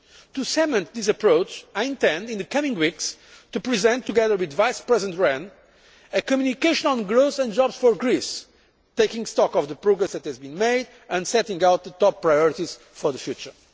To cement this approach I intend in the coming weeks to present, together with Vice President Rehn, a communication on growth and jobs for Greece, taking stock of the progress that has been made and setting out the top priorities for the future.